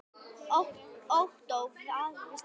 Ottó vafðist aldrei í ljóma.